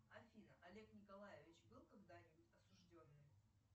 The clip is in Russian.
афина олег николаевич был когда нибудь осужденный